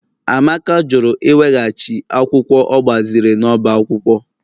Amaka jụrụ iweghachi akwụkwọ ọ gbaziri n'ọbá akwụkwọ